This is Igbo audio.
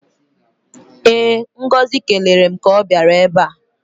Ee, Ngozi kelere m ka ọ bịara ebe a.